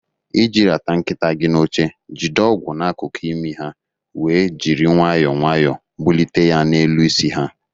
Iji rata nkịta gị n'oche, jide ọgwụ n'akụkụ imi ha wee jiri nwayọọ nwayọọ bulite ya n'elu isi ha.